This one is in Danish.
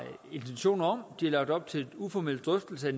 intentioner om de lagt op til en uformel drøftelse